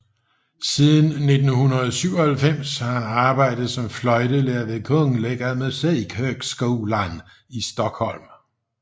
Siden 1997 har han arbejdet som fløjtelærer ved Kungliga Musikhögskolan i Stockholm